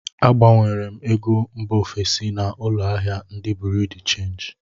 Agbanwere m ego mba ofesi na ụlọ ahịa ndị buriu di chenji